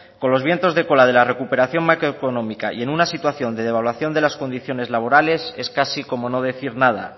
con los vientos de cola de la recuperación macroeconómica y en una situación de devaluación de las condiciones laborales es casi como no decir nada